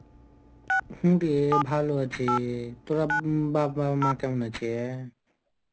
হ্যা রে, ভালো আছে. তোরা বাবা মা কেমন আছে?